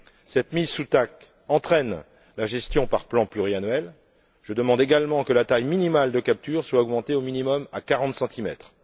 Cette mise sous TAC entraîne la gestion par plans pluriannuels. Je demande également que la taille minimale de capture soit augmentée au minimum à 40centimètres.